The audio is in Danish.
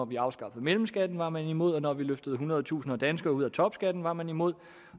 vi afskaffede mellemskatten var man imod og da vi løftede hundrede tusinder af danskere ud af topskatten var man imod